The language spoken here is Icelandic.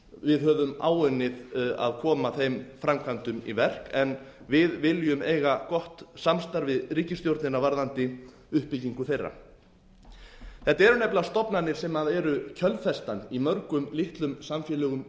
við höfum áunnið að koma þeim framkvæmdum í verk en við viljum eiga gott samstarf við ríkisstjórnina varðandi uppbyggingu þeirra þetta eru nefnilega stofnanir sem eru kjölfestan í mörgum litlum samfélögum